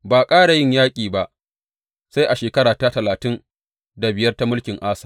Ba a ƙara yin yaƙi ba sai a shekara ta talatin da biyar ta mulkin Asa.